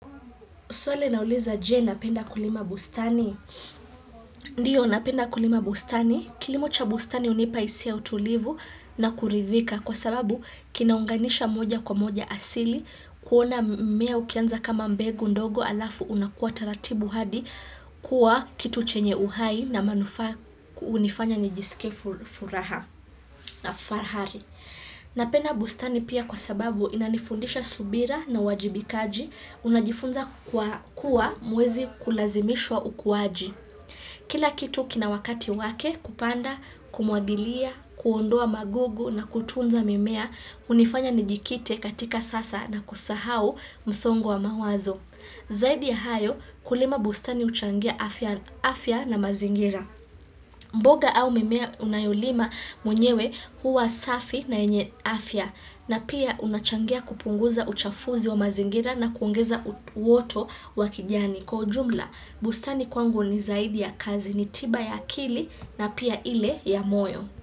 Swali inauliza je napenda kulima bustani. Ndiyo napenda kulima bustani. Kilimo cha bustani hunipa hisia ya utulivu na kuridhika. Kwa sababu kinaunganisha moja kwa moja asili. Kuona mimea ukianza kama mbegu ndogo alafu unakuwa taratibu hadi. Kuwa kitu chenye uhai na manufaa hunifanya nijisikie furaha na fahari. Napenda bustani pia kwa sababu inanifundisha subira na uwajibikaji. Unajifunza kuwa mwezi kulazimishwa ukuwaji Kila kitu kina wakati wake kupanda, kumwagilia, kuondoa magugu na kutunza mimea hunifanya nijikite katika sasa na kusahau msongo wa mawazo Zaidi ya hayo kulima bustani huchangia afya na mazingira mboga au mimea unayolima mwenyewe huwa safi na yenye afya na pia unachangia kupunguza uchafuzi wa mazingira na kuongeza uoto wa kijani kwa ujumla. Bustani kwangu ni zaidi ya kazi ni tiba ya akili na pia ile ya moyo.